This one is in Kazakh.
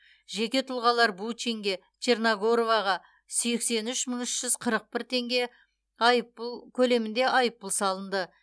жеке тұлғалар бучинге черногороваға сексен үш мың үш жүз қырық бір теңге айыппұл көлемінде айыппұл салынды